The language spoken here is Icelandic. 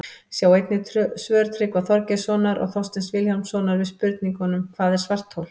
Sjá einnig svör Tryggva Þorgeirssonar og Þorsteins Vilhjálmssonar við spurningunum Hvað er svarthol?